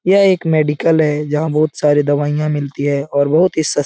यह एक मेडिकल है यहां बहुत सारे दवाइयां मिलती है और बहुत ही सस --